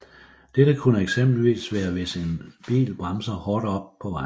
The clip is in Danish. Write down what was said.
Dette kunne eksempelvis være hvis en bil bremser hårdt op på vejen